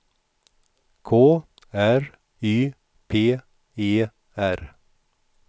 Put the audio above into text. K R Y P E R